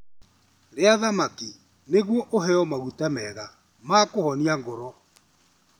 Rĩa thamaki nĩguo ũheo maguta mega ma kũhonia ngoro.